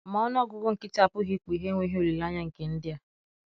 Ma ọnụ ọgụgụ nkịtị apụghị ikpughe enweghị olileanya nke ndị a.